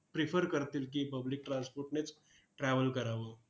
prefer करतील की, public transport नेच travel करावं.